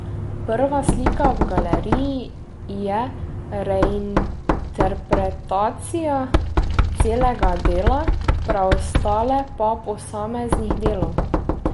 Prva slika v galeriji je reinterpretacija celega dela, preostale pa posameznih delov.